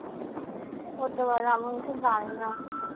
হতে পারে আমি ওইসব জানি না।